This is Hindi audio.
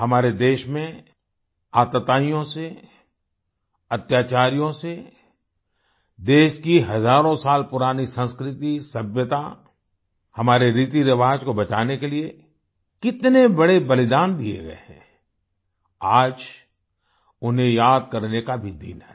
हमारे देश में आतताइयों से अत्याचारियों से देश की हजारों साल पुरानी संस्कृति सभ्यता हमारे रीतिरिवाज को बचाने के लिए कितने बड़े बलिदान दिए गए हैं आज उन्हें याद करने का भी दिन है